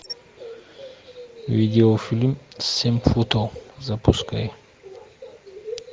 видео фильм семь футов запускай